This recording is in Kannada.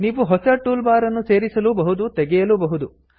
ನೀವು ಹೊಸ ಟೂಲ್ ಬಾರ್ ಅನ್ನು ಸೇರಿಸಲೂ ಬಹುದು ತೆಗೆಯಲೂ ಬಹುದು